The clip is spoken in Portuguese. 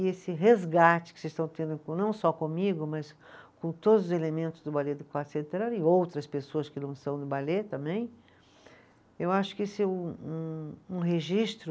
E esse resgate que vocês estão tendo com, não só comigo, mas com todos os elementos do Balê do Quarto Centenário, e outras pessoas que não são do balê também, eu acho que isso é um um, umregistro